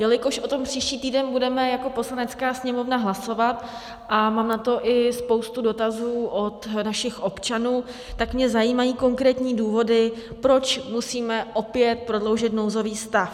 Jelikož o tom příští týden budeme jako Poslanecká sněmovna hlasovat a mám na to i spoustu dotazů od našich občanů, tak mě zajímají konkrétní důvody, proč musíme opět prodloužit nouzový stav.